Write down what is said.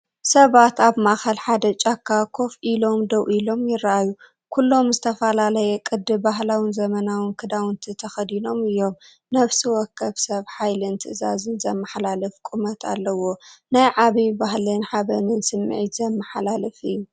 ሰባት ኣብ ማእከል ሓደ ጫካ ኮፍ ኢሎም ደው ኢሎም ይረኣዩ። ኩሎም ዝተፈላለየ ቅዲ ባህላውን ዘመናውን ክዳውንቲ ተኸዲኖም እዮም። ነፍሲ ወከፍ ሰብ ሓይልን ትእዛዝን ዘመሓላልፍ ቁመት ኣለዎ። ናይ ዓብይ ባህልን ሓበንን ስምዒት ዘመሓላልፍ እዩ።